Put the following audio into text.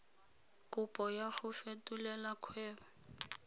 kopo ya go fetolela kgwebo